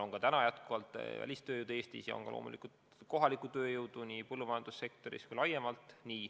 Välistööjõudu Eestis juba on nii põllumajandussektoris kui laiemalt hõives.